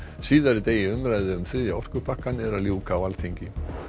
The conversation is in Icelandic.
síðari degi umræðu um þriðja orkupakkann er að ljúka á Alþingi